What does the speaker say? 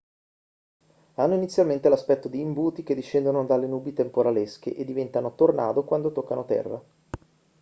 hanno inizialmente l'aspetto di imbuti che discendono dalle nubi temporalesche e diventano tornado quanto toccano terra